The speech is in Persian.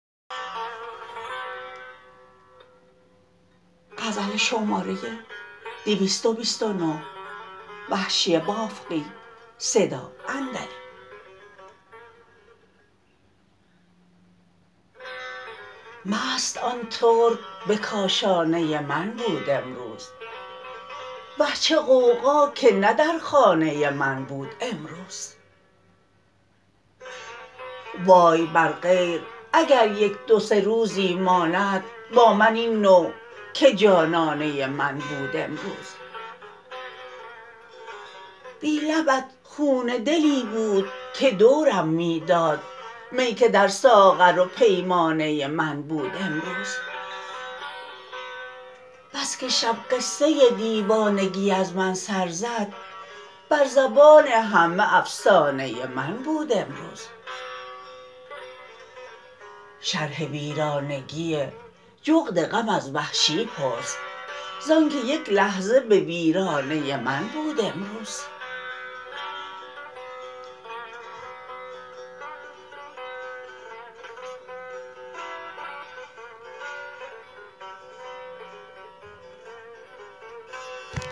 مست آن ترک به کاشانه من بود امروز وه چه غوغا که نه در خانه من بود امروز وای بر غیر اگر یک دو سه روزی ماند با من این نوع که جانانه من بود امروز بی لبت خون دلی بود که دورم می داد می که در ساغر و پیمانه من بود امروز بسکه شب قصه دیوانگی از من سر زد بر زبان همه افسانه من بود امروز شرح ویرانگی جغد غم از وحشی پرس زانکه یک لحظه به ویرانه من بود امروز